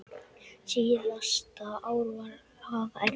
Síðasta ár var afa erfitt.